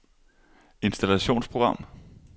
installationsprogram